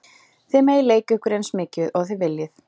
Þið megið leika ykkur eins mikið og þið viljið.